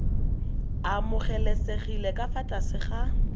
amogelesegile ka fa tlase ga